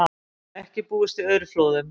Ekki búist við aurflóðum